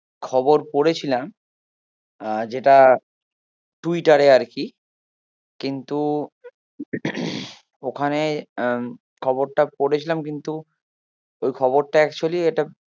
খবর পড়েছিলাম আহ যেটা টুইটারে আরকি কিন্তু ওখানে আহ খবরটা পড়েছিলাম কিন্তু ওই খবরটা actually